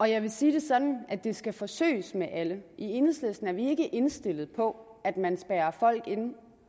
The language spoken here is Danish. jeg vil sige det sådan at det skal forsøges med alle i enhedslisten er vi ikke indstillet på at man spærrer folk inde